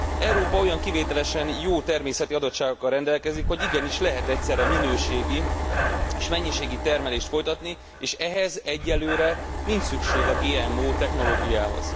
Európa olyan kivételesen jó természeti adottságokkal rendelkezik, hogy igenis lehet egyszerre minőségi és mennyiségi termelést folytatni, és ehhez egyenlőre nincs szükség a GMO technológiához.